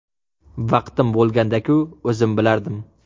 Vaqtim bo‘lganda-ku, o‘zim bilardim.